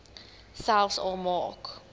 selfs al maak